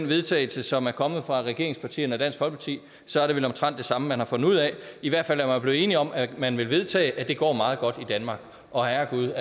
vedtagelse som er kommet fra regeringspartierne og dansk folkeparti så er det vel omtrent det samme man der har fundet ud af i hvert fald er man blevet enig om at man vil vedtage at det går meget godt i danmark og herregud